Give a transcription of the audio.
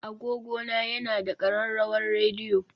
Agogona yana da ƙararrawar rediyo